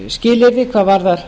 skilyrði hvað varðar